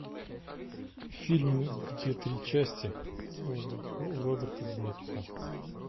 фильм где три части роберта земекиса